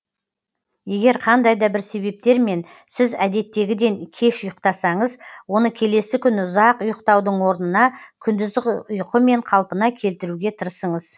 егер қандай да бір себептермен сіз әдеттегіден кеш ұйықтасаңыз оны келесі күні ұзақ ұйықтаудың орнына күндізгі ұйқымен қалпына келтіруге тырысыңыз